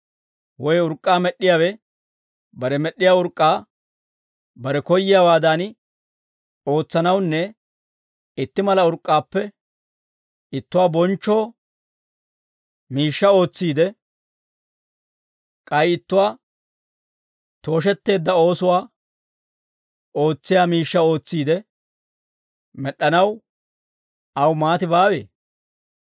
Woy urk'k'aa med'd'iyaawe bare med'd'iyaa urk'k'aa bare koyyiyaawaadan ootsanawunne itti mala urk'k'aappe ittuwaa bonchcho miishshaa ootsiide, k'ay ittuwaa tooshetteedda oosuwaa ootsiyaa miishshaa ootsiide med'd'anaw aw maati baawee?